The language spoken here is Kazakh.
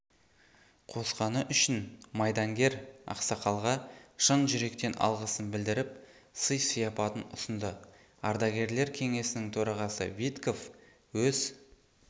қосқаны үшін майдангер ақсақалға шын жүректен алғысын білдіріп сый-сияпатын ұсынды ардагерлер кеңесінің төрағасы витков өз